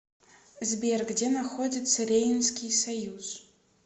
сбер где находится рейнский союз